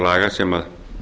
reglum sem